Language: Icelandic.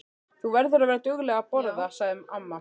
Þú verður að vera dugleg að borða, sagði amma.